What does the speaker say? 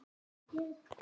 Voruð klók.